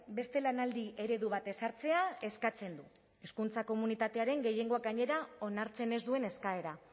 beste lanaldi eredu bat ezartzea eskatzen du hezkuntza komunitatearen gehiengoak gainera onartzen ez duen eskaera